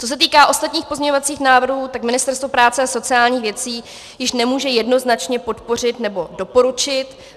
Co se týká ostatních pozměňovacích návrhů, tak Ministerstvo práce a sociálních věcí je nemůže jednoznačně podpořit nebo doporučit.